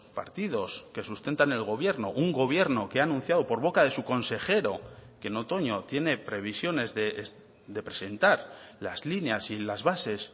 partidos que sustentan el gobierno un gobierno que ha anunciado por boca de su consejero que en otoño tiene previsiones de presentar las líneas y las bases